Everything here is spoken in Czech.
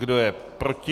Kdo je proti?